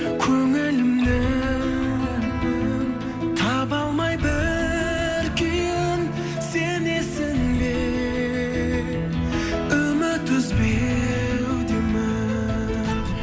көңілімнің таба алмай бір күйін сенесің бе үміт үзбеудемін